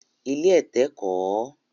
Ilé ẹ̀tẹ̀ kọ̀ ọ́